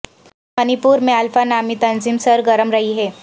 منی پور میں الفا نامی تنظیم سرگرم رہی ہے